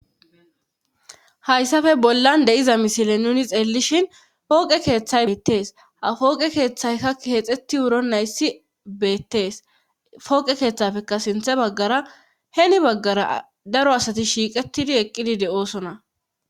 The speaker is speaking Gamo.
hayssafe bollan de'iza misile nuni xeellishin pooqe keeththay beetees ha fooqe keeththaykka keexetti wuro nayssi beettees pooqe keeththafeka sinthe baggara heni baggara daro asati shiiqetidi eqqidi de'oosona